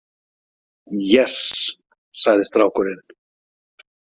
Yes, sagði strákurinn.